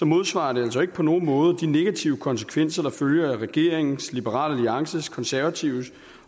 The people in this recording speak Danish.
modsvarer det altså ikke på nogen måde de negative konsekvenser der følger af regeringens liberal alliances konservatives